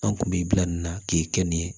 An kun bɛ bila nin na k'e kɛ nin ye